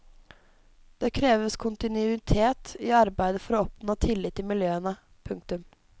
Det kreves kontinuitet i arbeidet for å oppnå tillit i miljøene. punktum